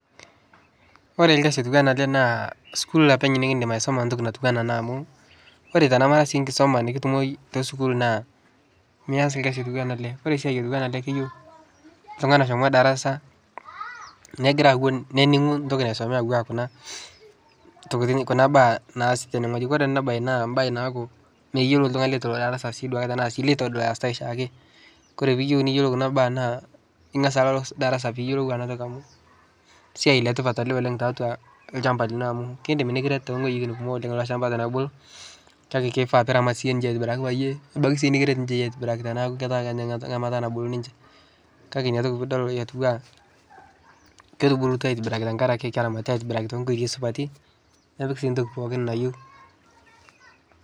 Kore lkasi lotuana ale naa skul apeny nikidim aisoma ntoki natuana amu kore sii tanamara nkisoma itumo teskul naa Mia's lkasi atuwana ale Kore siai atuana ake keyeu ltungani eshomo darasa nagira awon neningu ntoki nasome atua Kuna baa naasie tenengoji, eji Kore ana bae naa mbae naaku meyelo ltungani letolo darasa tanasi duake letodol ayasitae shaake Kore piyeu niyelou kuna baa naa ingas Ako darasa piyeu ana toki amu siai letipat ale tatua lshamba lino amu keidim nikiret amu kore lolshamba tonobulu kake keifaa piramat yie atibiraki payie ebaki kiret yie ninye tanabaki kenya ngamata nabulu ninche kake nia toki atua ketubulutua tenkaraki keramatitae atibiraki tenkotei supati nepiki sii ntoki pooki nayeu.